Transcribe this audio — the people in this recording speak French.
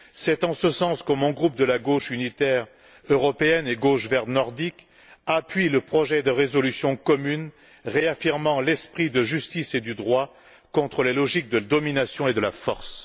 C'est en ce sens que mon groupe de la Gauche unitaire européenne et gauche verte nordique appuie le projet de résolution commune, réaffirmant l'esprit de la justice et du droit contre les logiques de domination et de la force.